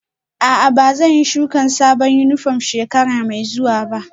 A'a, ba zan yi shuka sabon yunifwom shekara mai zuwa ba